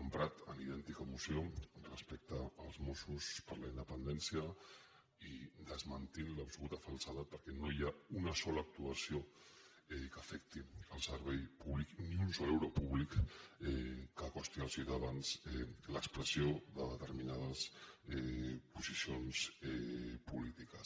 emprat en idèntica moció respecte als mossos per la independència i desmentint l’absoluta falsedat perquè no hi ha una sola actuació que afecti el servei públic ni un sol euro públic que costi als ciutadans l’expressió de determinades posicions polítiques